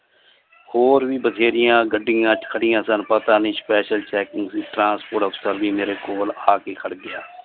ਹੋਰ ਵੀ ਵਥੇਰੀਆਂ ਗੱਡੀਆਂ ਖੜਿਆ ਸਨ ਪਤਾ ਨੀ special checking transport ਅਫਸਰ ਜੀ ਮੇਰੇ ਕੋਲ ਆਕੇ ਖੜ ਗਿਆ।